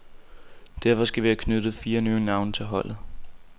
Derfor skal vi have tilknyttet fire nye navne til holdet.